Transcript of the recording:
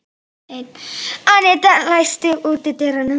Annetta, læstu útidyrunum.